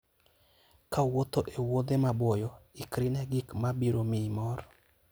Kawuotho e wuodhe maboyo, ikri ne gik ma biro miyi mor.